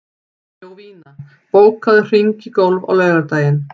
Jovina, bókaðu hring í golf á laugardaginn.